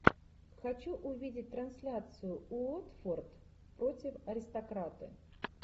хочу увидеть трансляцию уотфорд против аристократы